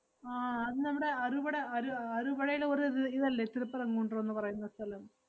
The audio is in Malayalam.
ആഹ് അത് നമ്മടെ അറുവടേ~ അറു~ അറുവഴേല് ഒരു ര്~ ഇതല്ലേ തിരുപ്പുറം കുൻഡ്രം ~ന്ന് പറയുന്ന സ്ഥലം?